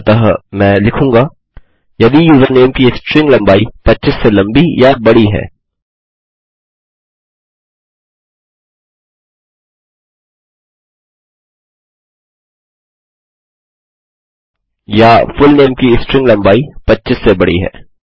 अतः मैं लिखूँगा यदि यूज़रनेम की स्ट्रिंग लम्बाई 25 से लम्बी या बड़ी है या फुलनेम की स्ट्रिंग लम्बाई 25 से बड़ी है